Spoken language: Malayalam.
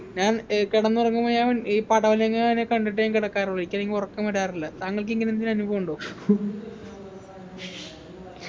ഞാൻ ഏർ കിടന്നുറങ്ങുമ്പ ഞാൻ ഈ പടവലങ്ങാനെ കണ്ടിട്ടെ ഞാൻ കിടക്കാറുള്ളു ഒരിക്കലും എനിക്ക് ഉറക്കം വരാറില്ല താങ്കൾക്ക് ഇങ്ങനെ എന്തേലും അനുഭവമുണ്ടോ